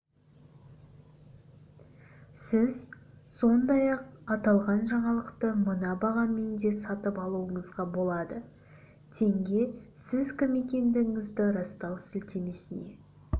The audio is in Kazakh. сіз сондай-ақ аталған жаңалықты мына бағамен де сатып алуыңызға болады теңге сіз кім екендігіңізді растау сілтемесіне